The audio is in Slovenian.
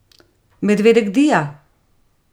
Medvedek Dija!